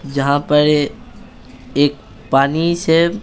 जहाँ पर एक पानी से--